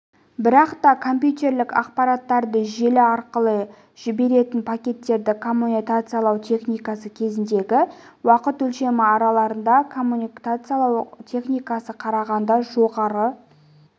бірақ та компьютерлік ақпараттарды желі арқылы жіберетін пакеттерді коммутациялау техникасы кезіндегі уақыт өлшемі арналарды коммутациялау техникасына қарағанда жоғары